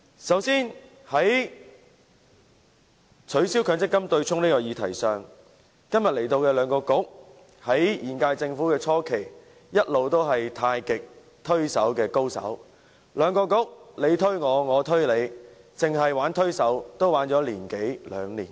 首先，在取消強積金對沖的議題上，今天前來本會的兩個政策局在現屆政府初期一直是太極推手的高手，互相推卸責任，持續了一年多兩年。